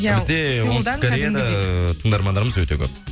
бізде оңтүстік кореяда тыңдармандарымыз өте көп